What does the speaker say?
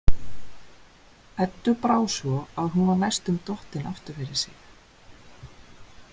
Eddu brá svo að hún var næstum dottin aftur fyrir sig.